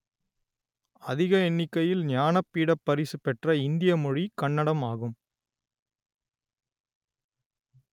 அதிக எண்ணிக்கையில் ஞானபீடப் பரிசுப் பெற்ற இந்திய மொழி கன்னடம் ஆகும்